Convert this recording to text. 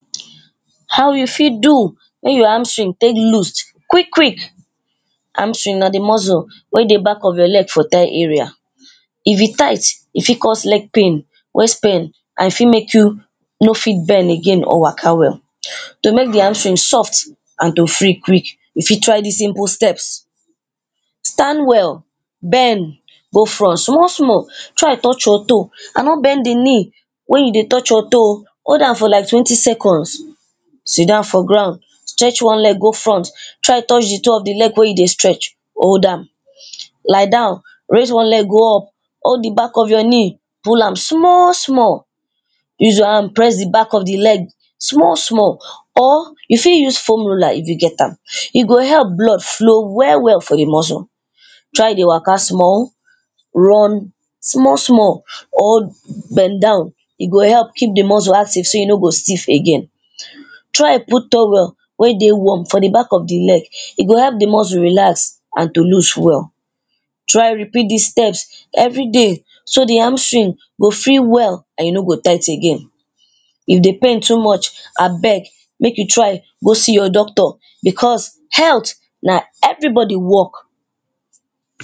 How you fit do make your hamstring loose quick quickly, hamstring na di muscle wey dey back of your leg for tale area. If e tight e fit cause leg pain, waist pain and e fit make you no fit bend again or waka well. To make di hamstring soft and to free quick you fit try dis simple steps. Stand well, bend go front small small try touch your toe and no bend di knee wen you dey touch your toe oh hold am for like twenty seconds, sit down for ground stretch one leg go front try touch di toe of di leg wey you dey stretch, lie down raise one leg go up, hold di back of your knee, pull am small small use your hand press di back of di leg small small or you for use formula if you get am e go help blood flow well well for di muscle. Try dey wake small, one small small or bend down e go help keep di muscle active so e no go stiff again, try put towel wey warm for di back of di leg and to loose well. Try repeat dis steps everyday so di hamstring go feel well and no go tight again, if di pain too much abeg make you try go see your doctor becos health na everybody work.